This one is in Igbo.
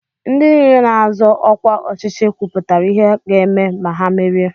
Ndị nile na-azọ ọkwa ọchịchị kwụpụtara ihe ha ga-eme ma ha merie.